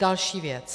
Další věc.